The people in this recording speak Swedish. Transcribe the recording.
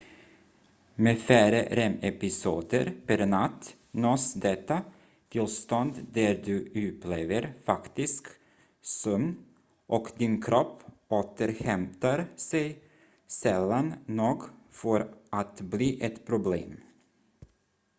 med färre rem-episoder per natt nås detta tillstånd där du upplever faktisk sömn och din kropp återhämtar sig sällan nog för att bli ett problem